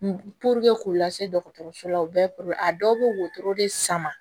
k'u lase dɔgɔtɔrɔso la u bɛɛ a dɔw bɛ wotoro de sama